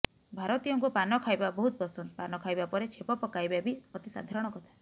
ଭାରତୀୟଙ୍କୁ ପାନ ଖାଇବା ବହୁତ ପସନ୍ଦା ପାନ ଖାଇବା ପରେ ଛେପ ପକାଇବା ବି ଅତି ସାଧାରଣ କଥା